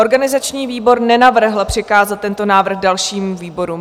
Organizační výbor nenavrhl přikázat tento návrh dalšímu výboru.